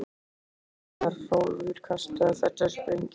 Hann kippist við þegar Hrólfur kastar þessari sprengju.